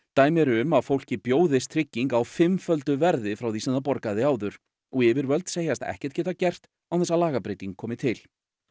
dæmi eru um að fólki bjóðist trygging á fimmföldu verði frá því sem það borgaði áður og yfirvöld segjast ekkert geta gert án þess að lagabreyting komi til